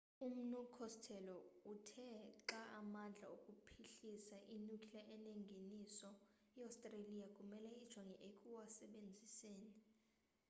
umnu costello uthe xa amandla okuphuhlisa i-nuclear enengeniso iostreliya kumele ijonge ekuwasebenziseni